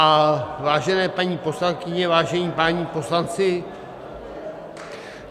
A vážené paní poslankyně, vážení páni poslanci...